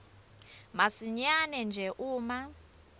masinyane nje uma